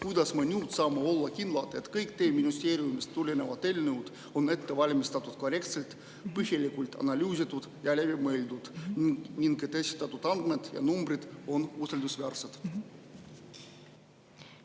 Kuidas me nüüd saame olla kindlad, et kõik teie ministeeriumist tulevad eelnõud on ette valmistatud korrektselt, põhjalikult analüüsitud ja läbi mõeldud ning et esitatud andmed ja numbrid on usaldusväärsed?